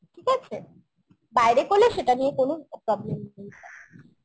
ঠিক আছে? বাইরে করলে সেটা নিয়ে কোন problem নেই